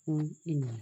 fún ènìyàn.